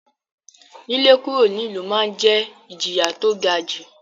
lílé kúrò nílùú ma ń jẹ́ ìjìyà tó ga jù.